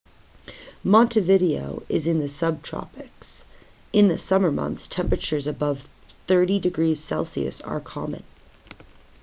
montevideo is in the subtropics; in the summer months temperatures above +30°c are common